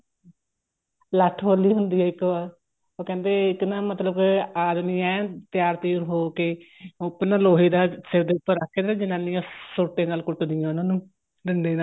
ਲੱਠ ਹੋਲੀ ਹੁੰਦੀ ਆ ਇੱਕ ਉਹ ਕਹਿੰਦੇ ਇੱਕ ਨਾ ਮਤਲਬ ਆਦਮੀ ਐਨ ਤਿਆਰ ਤੁਆਰ ਹੋ ਕੇ ਉੱਪਰ ਨਾ ਲੋਹੇ ਦਾ ਸਿਰ ਉੱਪਰ ਰੱਖ ਕੇ ਨਾ ਜਨਾਨੀਆਂ ਸੋਟੇ ਨਲ ਕੁੱਟਦੀਆਂ ਉਹਨਾ ਨੂੰ ਡੰਡੇ ਨਾਲ